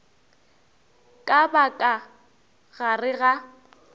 ka ba ka gare ga